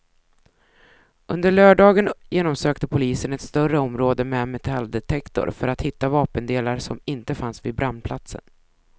Under lördagen genomsökte polisen ett större område med metalldetektor för att hitta vapendelar som inte fanns vid brandplatsen.